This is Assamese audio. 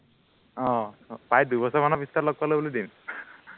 আহ প্ৰায় দুবছৰৰ মানৰ পিছত লগ পালো বুলি দিম